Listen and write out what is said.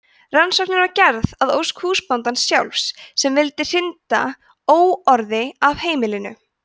rannsóknin var gerð að ósk húsbóndans sjálfs sem vildi hrinda óorði af heimilinu